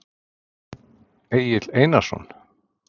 Egill Einarsson?